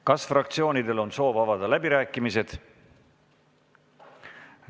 Kas fraktsioonidel on soov avada läbirääkimised?